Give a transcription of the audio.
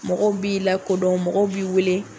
Mɔgɔ b'i lakodɔn mɔgɔ b'i wele